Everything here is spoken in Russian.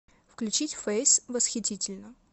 включить фэйс восхитительно